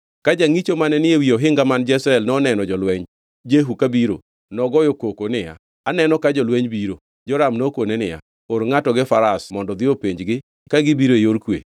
Ka jangʼicho mane ni ewi ohinga man Jezreel noneno jolweny Jehu kabiro, nogoyo koko niya, “Aneno ka jolweny biro.” Joram nokone niya, “Or ngʼato gi faras mondo odhi openjgi ka gibiro e yor kwe.”